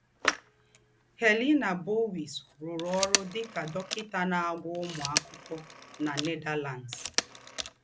Helena Bouwhuis rùrụ̀ ọ́rụ́ dì kà dọ́kịtà ná-àgwọ̀ úmù àkụ́kọ̀ na Netherlands.